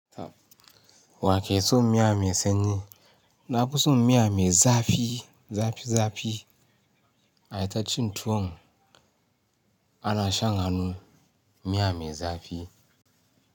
Wa ke son miya mai sanyi? Na fi son miya mai zafi, zafi, zafi. Ai tacin tuwon ana shan hannu, miya mai zafi.